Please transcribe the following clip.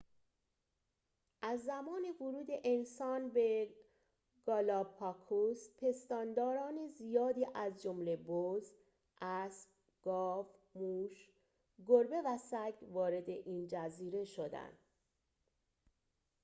از زمان ورود انسان به گالاپاگوس پستانداران زیادی از جمله بز اسب گاو موش گربه و سگ وارد این جزیره شدند